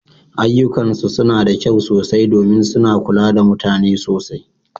Ayyukansu suna da kyau sosai domin suna kula da mutane sosai.